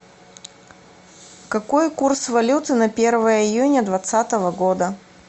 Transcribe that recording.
какой курс валюты на первое июня двадцатого года